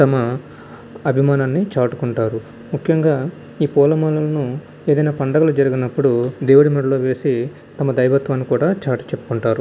తమ అభిమానాన్ని చాటుకుంటారు. మొకం గా ఈ పుల్ల మాలను ఎదిన పండగ జేరిగినపుడు దేవుడు మేడలూ వేసి తన దివితై కూడా చాటు చేపుకుంటారు.